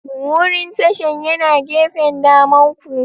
Wurin tashan yana gefen damanku.